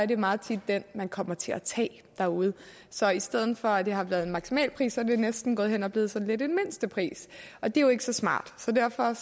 det meget tit den man kommer til at tage derude så i stedet for at det har været en maksimalpris er det næsten gået hen og blevet sådan lidt en mindstepris og det er jo ikke så smart så derfor